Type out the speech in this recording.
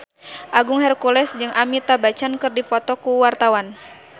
Agung Hercules jeung Amitabh Bachchan keur dipoto ku wartawan